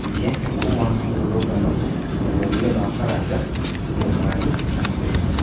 Ningĩ nĩ kuma na mĩ rũrũngano mabũrũri-inĩ ma Faraja, Jeremani na Spain